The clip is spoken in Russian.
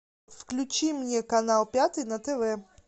включи мне канал пятый на тв